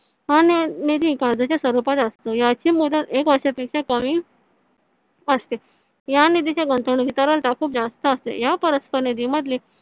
हां निधी कर्जाच्या स्वरूपात असतो याची मुदत एक वर्षापेक्षा कमी असते या निधीच्या गुंतवणुकी खूप जास्त असते या परस्पर निधीमधली